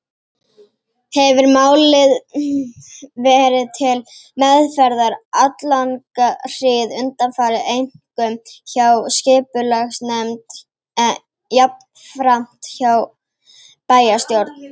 Hefir málið verið til meðferðar alllanga hríð undanfarið, einkum hjá skipulagsnefnd, en jafnframt hjá bæjarstjórn.